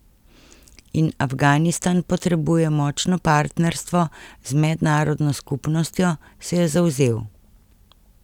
In Afganistan potrebuje močno partnerstvo z mednarodno skupnostjo, se je zavzel.